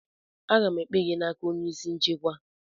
Aga m ekpe gị n'aka onye isi nchekwa!